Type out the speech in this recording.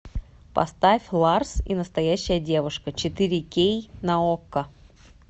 поставь ларс и настоящая девушка четыре кей на окко